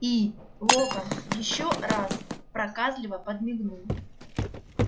и локонс ещё раз проказливо подмигнул